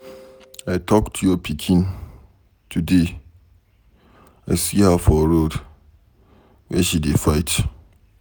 I talk to your pikin today. I see her for road Where she dey fight.